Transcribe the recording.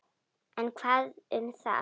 En hvað um það!